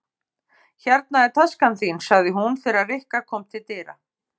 Hérna er taskan þín sagði hún þegar Rikka kom til dyra.